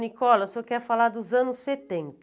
Nicola, o senhor quer falar dos anos setenta.